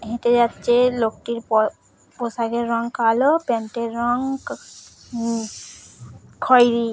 হেঁটে যাচ্ছে লোকটির প পোশাকের রং কালো প্যান্ট - এর রং কা হুঁ খয়েরি --